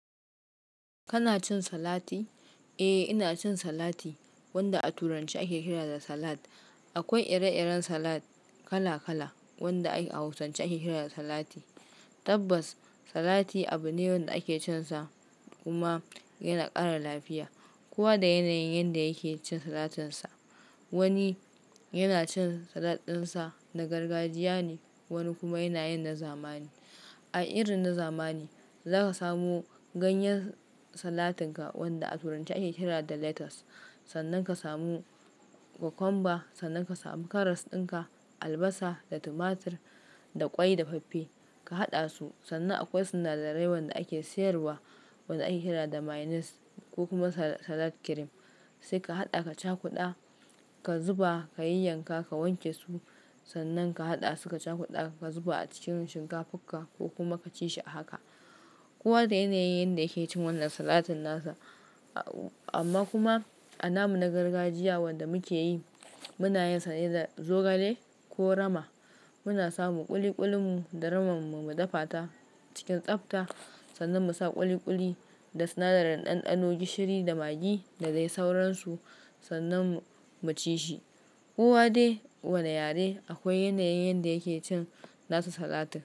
Kana cin salati? Eh, ina cin salati wanda a turanci ake kira da salad. Akwai ire-iren salad kala-kala wanda a hausance ake kira da salati. Tabbas salati abu ne wanda ake cinsa kuma yana ƙara lafiya. Kowa da yanayin yanda yake cin salatinsa. Wani yana cin salad ɗinsa na gargajiya ne, wani kuma yana yin na zamani. A irin na zamani, za ka samu ganyen salatinka wanda a turanci ake kira da lettuce. Sannan ka samu cucumber, sannan ka samu karas ɗinka, albasa da tumatur da ƙwai da faffe. Ka haɗa su, sannan akwai sinadarai wanda ake sayarwa wanda ake kira da mayonnaise ko kuma salad cream. Sai ka haɗa ka cakuɗa, ka zuba ka yi yanka ka wanke su. Sannan ka haɗa su ka cakuɗa ka zuba a cikin shinkafarka ko kuma ka ci shi a haka. Kowa da yanayin yanda yake cin wannan salatin nasa. Amma kuma a namu na gargajiya wanda muke yi, muna yin sanye da zogale ko rama. Muna samu ƙuli-ƙulinmu da ramamme mu dafata cikin tsafta. Sannan mu sa ƙuli-ƙuli da sinadaran ɗanɗano, gishiri da magi da dai sauransu sannan mu ci shi. Kowa dai wane yare akwai yanayin yanda yake cin nasu salati.